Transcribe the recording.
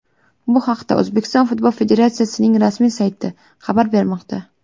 Bu haqda O‘zbekiston Futbol Federatsiyasining rasmiy sayti xabar bermoqda .